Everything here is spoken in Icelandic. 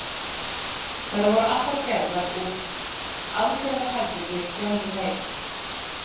Þær voru allar úr aðgerðaherbergi Johnny Mate.